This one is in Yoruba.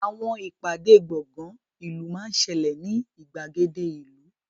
Àwọn ìpàdé gbọ̀ngán ìlú máa ń ṣẹlẹ̀ ní ìgbàgede ìlú